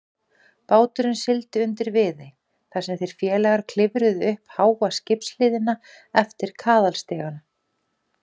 Báturinn sigldi undir Viðey, þar sem þeir félagar klifruðu upp háa skipshliðina eftir kaðalstiga.